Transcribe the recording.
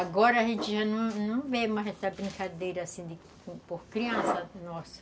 Agora a gente já não não vê mais essa brincadeira assim por criança nossa.